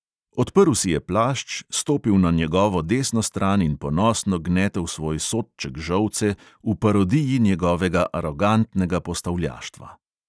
Odprl si je plašč, stopil na njegovo desno stran in ponosno gnetel svoj sodček žolce v parodiji njegovega arogantnega postavljaštva.